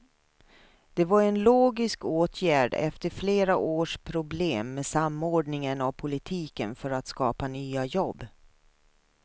Det var en logisk åtgärd efter flera års problem med samordningen av politiken för att skapa nya jobb.